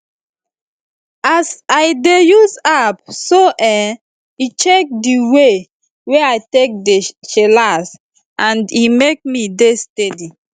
as i dey use app so[um]e check di way wey i take dey chillax and e make me dey steady